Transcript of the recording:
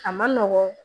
A ma nɔgɔn